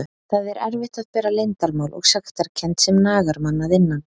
Það er erfitt að bera leyndarmál og sektarkennd sem nagar mann að innan.